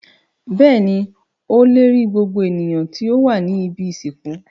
Bẹ́ẹ̀ni, ó le rí gbogbo ènìyàn tí ó wà ní ibi-ìsìnkú.